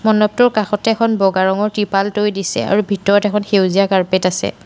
মণ্ডপটোৰ কাষতে এখন বগা ৰঙৰ ত্ৰিপাল তৰি দিছে আৰু ভিতৰত এখন সেউজীয়া কাৰ্পেট আছে।